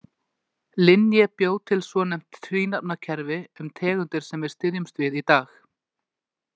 Linné bjó til svonefnt tvínafnakerfi um tegundir sem við styðjumst við í dag.